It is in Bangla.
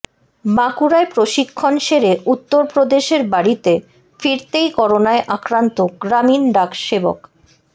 বাঁকুড়ায় প্রশিক্ষণ সেরে উত্তরপ্রদেশের বাড়িতে ফিরতেই করোনায় আক্রান্ত গ্রামীণ ডাক সেবক